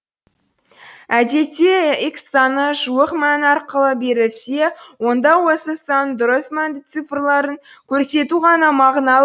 әдетте х саны жуық мәні арқылы берілсе онда осы санның дұрыс мәнді цифрларын көрсету ғана мағыналы